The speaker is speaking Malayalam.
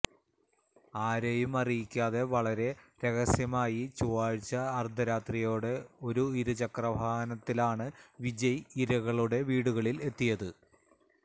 ആരേയും അറിയിക്കാതെ വളരെ രഹസ്യമായി ചൊവ്വാഴ്ച അര്ദ്ധ രാത്രിയോടെ ഒരു ഇരുചക്ര വാഹനത്തിലാണ് വിജയ് ഇരകളുടെ വീടുകളില് എത്തിയത്